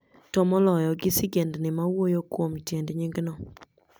to moloyo, gi sigendni ma wuoyo kuom tiend nying'no.